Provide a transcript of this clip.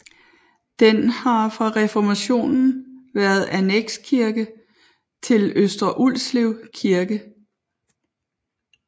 Den har fra reformationen været annekskirke til Øster Ulslev Kirke